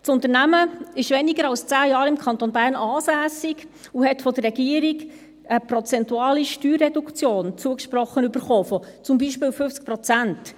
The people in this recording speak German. Das Unternehmen ist weniger als 10 Jahre im Kanton Bern ansässig und hat von der Regierung eine prozentuale Steuerreduktion zugesprochen bekommen von zum Beispiel 50 Prozent.